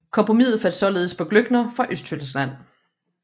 Kompromiset faldt således på Glöckner fra Østtyskland